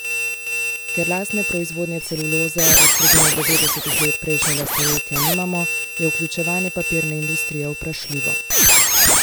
Ker lastne proizvodnje celuloze od sredine devetdesetih let prejšnjega stoletja nimamo, je vključevanje papirne industrije vprašljivo.